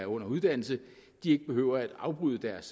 under uddannelse ikke behøver afbryde deres